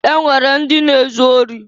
E nwere ndị na-ezu ori.